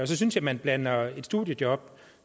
så synes jeg man blander et studiejob